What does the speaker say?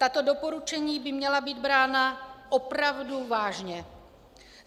Tato doporučení by měla být brána opravdu vážně.